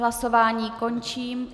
Hlasování končím.